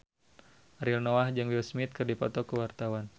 Ariel Noah jeung Will Smith keur dipoto ku wartawan